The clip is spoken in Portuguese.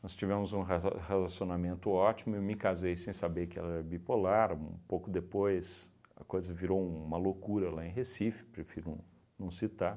Nós tivemos um raza relacionamento ótimo, eu me casei sem saber que ela era bipolar, um pouco depois a coisa virou uma loucura lá em Recife, prefiro não não citar.